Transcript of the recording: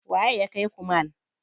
Waye ya kaiku mall?